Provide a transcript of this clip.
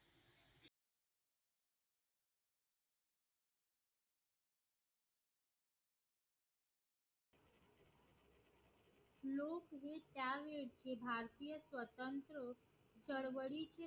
हे भारतीय स्वतंत्र चळवळीचे